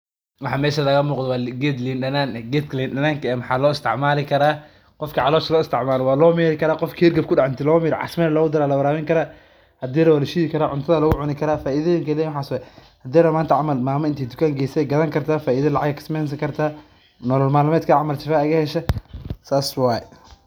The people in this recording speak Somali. waxa mesha kalamuqto waa geed liin danaan geed kalindanan waxaloistacmalkra qofka calosha loistacmalikara walomirikara qofki herkab kudaxa intilomiro cacmali lokutara lawarawinikara hadilarawinikara hadiilarawo walashithikara cuntatha lokutari kara faithathikara waxas waye hadilarawo mantacamal mama ineytukan gesa weysogathani karta faida lacag eykasamenkarta nololnalima nimathu saswaye